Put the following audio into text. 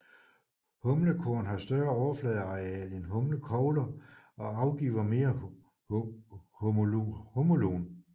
Humlekorn har større overfladeareal end humlekogler og afgiver mere humulon